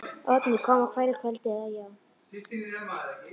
Oddný kom á hverju kvöldi, eða, já.